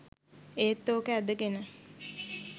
ඒත් ඕක ඇදගෙන